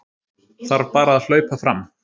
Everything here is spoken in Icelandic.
Þarf bara að hlaupa fram